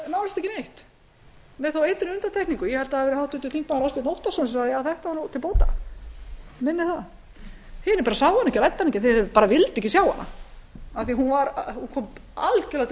ekki neitt með þó einni undantekningu mig minnir að það hafi verið háttvirtir þingmenn ásbjörn óttarsson sem sagði þetta var nú til bóta hinir sáu hana ekki ræddu hana ekki þeir vildu ekki sjá hana af því að hún kom algerlega til